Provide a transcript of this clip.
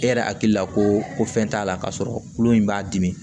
E yɛrɛ hakili la ko ko fɛn t'a la k'a sɔrɔ kulu in b'a dimi